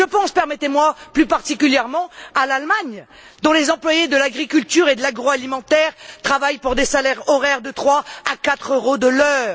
Je pense plus particulièrement à l'Allemagne, dont les employés de l'agriculture et de l'agroalimentaire travaillent pour des salaires de 3 à 4 euros de l'heure!